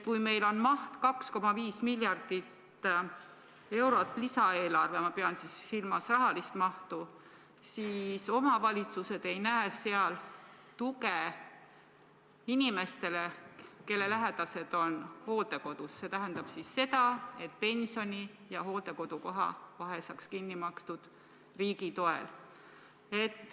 Lisaeelarve maht on 2,5 miljardit eurot, ma pean silmas rahalist mahtu, aga omavalitsused ei näe seal tuge inimestele, kelle lähedased on hooldekodus, see tähendab seda, et pensioni ja hooldekodukoha vahe saaks kinni makstud riigi toel.